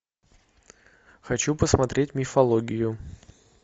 хочу посмотреть мифологию